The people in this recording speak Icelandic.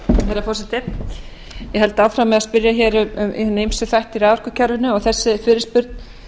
herra forseti ég held áfram með að spyrja hér um hina ýmsu þætti í raforkukerfinu og þessi fyrirspurn